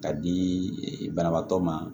Ka di banabaatɔ ma